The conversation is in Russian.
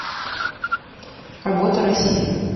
работа россии